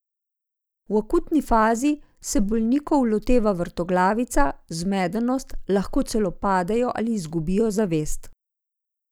V akutni fazi se bolnikov loteva vrtoglavica, zmedenost, lahko celo padejo ali izgubijo zavest.